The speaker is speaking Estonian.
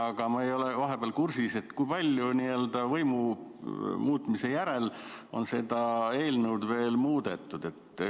Aga ma ei ole kursis, kui palju vahepeal, n-ö võimu muutmise järel on seda eelnõu muudetud.